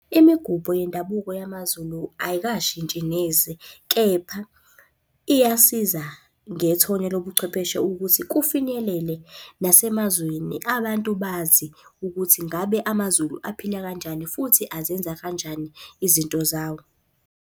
Imigubho yendabuko yamaZulu ayikashintshi neze, kepha iyasiza ngethonya lobuchwepheshe ukuthi kufinyelele nasemazweni, abantu bazi ukuthi ngabe amaZulu aphila kanjani futhi azenza kanjani izinto zawo.